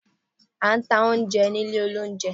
a ta oúnjẹ ní ilé oúnjẹ.